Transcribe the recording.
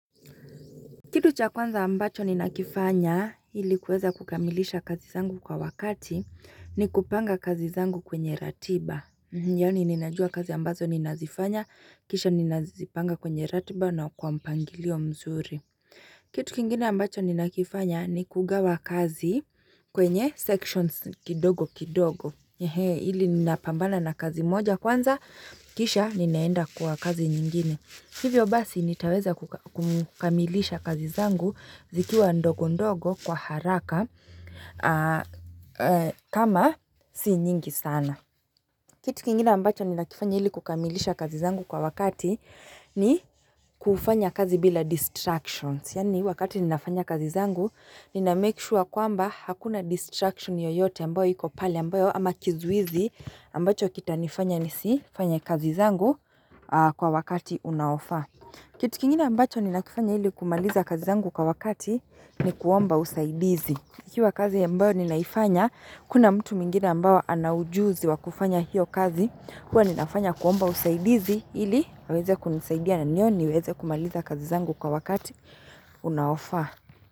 Kitu cha kwanza ambacho ninakifanya ili kuweza kukamilisha kazi zangu kwa wakati ni kupanga kazi zangu kwenye ratiba. Yani ninajua kazi ambazo ninazifanya kisha ninazipanga kwenye ratiba na kwa mpangilio mzuri. Kitu kingine ambacho ninakifanya ni kugawa kazi kwenye sections kidogo kidogo. Ili ninapambana na kazi moja kwanza kisha ninaenda kwa kazi nyingine. Hivyo basi nitaweza kukamilisha kazi zangu zikiwa ndogo ndogo kwa haraka kama si nyingi sana. Kitu kingine ambacho ninakifanya ili kukamilisha kazi zangu kwa wakati ni kufanya kazi bila distractions. Yani wakati ninafanya kazi zangu nina make sure kwamba hakuna distraction yoyote ambaylo iko pale ambayo ama kizuizi ambacho kitanifanya nisifanye kazi zangu kwa wakati unaofaa. Kitu kingina ambacho ninakifanya ili kumaliza kazi zangu kwa wakati ni kuomba usaidizi. Kikiwa kazi ambayo ninaifanya, hakuna mtu mwingine ambaye ana ujuzi wa kufanya hiyo kazi. Huwa ninafanya kuomba usaidizi ili, aweze kunisaidia na ndio, niweze kumaliza kazi zangu kwa wakati, unaofaa.